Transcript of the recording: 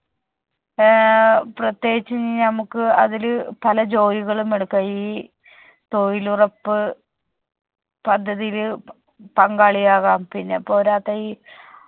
ഏർ പ്രത്യേകിച്ച് ഞമ്മുക്ക് അതില് പല ജോലികളും എടുക്കാം ഈ തൊഴിലുറപ്പ് പദ്ധതിതില് പ പങ്കാളിയാകാം. പിന്നെ പോരാത്തെ ഈ